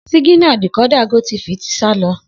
Siginà díkòdà gótifì ti sà lọ